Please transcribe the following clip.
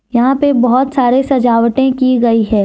यहां पे बहोत सारे सजावटे की गई है।